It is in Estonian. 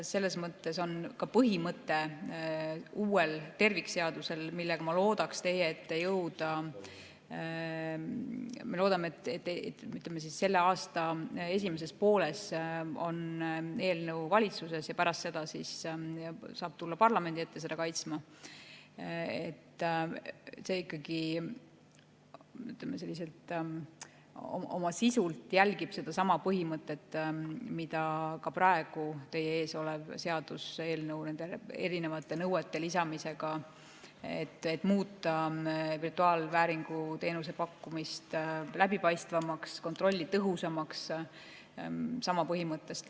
Selles mõttes ka uus tervikseadus – me loodame, et selle aasta esimeses pooles on eelnõu valitsuses ja pärast seda saab tulla parlamendi ette seda kaitsma – ikkagi oma sisult järgib sedasama põhimõtet, mida ka praegu teie ees olev seaduseelnõu nende erinevate nõuete lisamisega, et muuta virtuaalvääringu teenuse pakkumist läbipaistvamaks, kontrolli tõhusamaks.